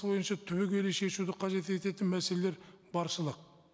түбегейлі шешуді қажет ететін мәселелер баршылық